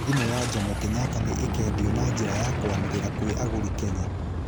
Thimũ ya Jomo Kenyatta nĩ ikendio na njĩra ya kwanĩrĩra kwĩ aguri kenya.